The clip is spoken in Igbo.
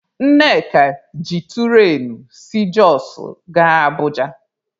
Nneka ji turain si Jọsụ gaa Abụja.